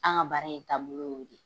An ka baara in taabolo y'o de.